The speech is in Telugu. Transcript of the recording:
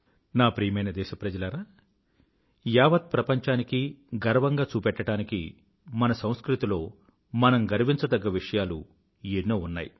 నా ప్రియమైన దేశప్రజలారా యావత్ ప్రపంచానికీ గర్వంగా చూపెట్టడానికి మన సంస్కృతిలో మనం గర్వించదగ్గ విషయాలు ఎన్నో ఉన్నాయి